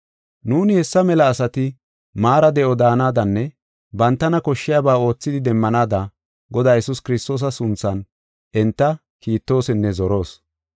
Nuuni hessa mela asati maara de7o daanadanne bantana koshshiyaba oothidi demmanaada Godaa Yesuus Kiristoosa sunthan enta kiittoosinne zoroos.